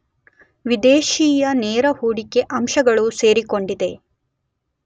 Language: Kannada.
ವಿದೇಶೀಯ ನೇರ ಹೂಡಿಕೆ ಅಂಶಗಳು ಸೇರಿಕೊಂಡಿದೆ.